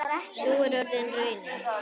Sú er orðin raunin.